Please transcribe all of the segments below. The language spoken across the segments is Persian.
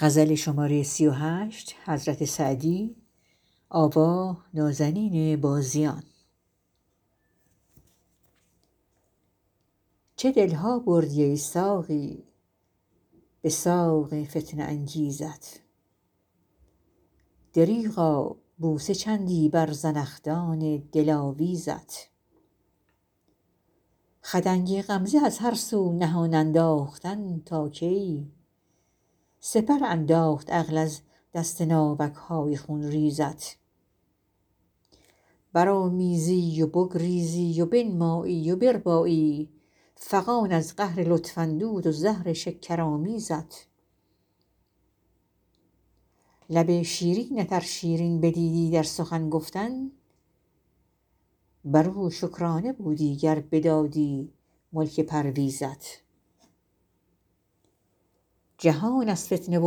چه دل ها بردی ای ساقی به ساق فتنه انگیزت دریغا بوسه چندی بر زنخدان دلاویزت خدنگ غمزه از هر سو نهان انداختن تا کی سپر انداخت عقل از دست ناوک های خونریزت برآمیزی و بگریزی و بنمایی و بربایی فغان از قهر لطف اندود و زهر شکرآمیزت لب شیرینت ار شیرین بدیدی در سخن گفتن بر او شکرانه بودی گر بدادی ملک پرویزت جهان از فتنه و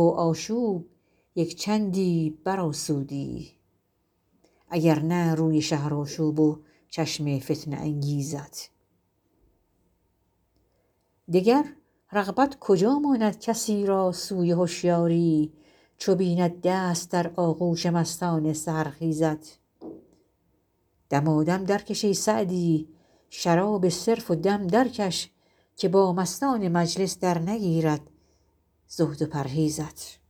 آشوب یک چندی برآسودی اگر نه روی شهرآشوب و چشم فتنه انگیزت دگر رغبت کجا ماند کسی را سوی هشیاری چو بیند دست در آغوش مستان سحرخیزت دمادم درکش ای سعدی شراب صرف و دم درکش که با مستان مجلس درنگیرد زهد و پرهیزت